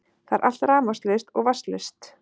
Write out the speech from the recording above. Það er allt rafmagnslaust og vatnslaust